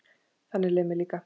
Þannig leið mér líka.